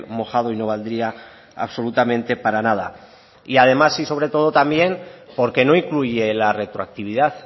mojado y no valdría absolutamente para nada y además y sobre todo también porque no incluye la retroactividad